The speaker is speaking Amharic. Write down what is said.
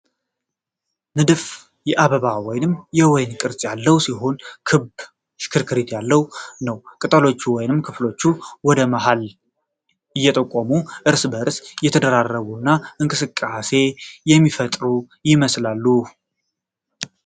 ንድፉ የአበባ ወይም የወይን ቅርፅ ያለው ሲሆን ክብ እና ሽክርክሪት ያለው ነው። ቅጠሎቹ ወይም ክፍሎቹ ወደ መሀል እየጠቆሙ፣ እርስ በርስ እየተደራረቡ እና እንቅስቃሴን የሚፈጥሩ ይመስላል።